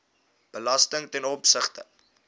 belasting ten opsigte